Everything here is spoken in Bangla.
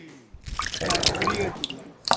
হ্যাঁ পুরি গেছিলাম